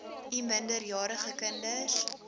u minderjarige kinders